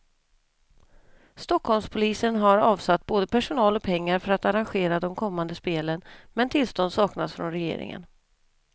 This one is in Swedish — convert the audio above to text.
Stockholmspolisen har avsatt både personal och pengar för att arrangera de kommande spelen, men tillstånd saknas från regeringen.